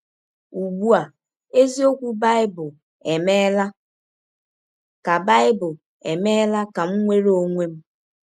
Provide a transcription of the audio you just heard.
Ụgbụ a, eziọkwụ Baịbụl emeela ka Baịbụl emeela ka m nwere ọnwe m! ”